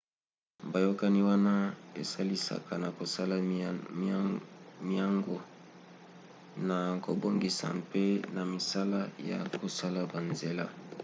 boyakani wana esalisaka na kosala miango na kobongisa mpe na misala ya kosala banzela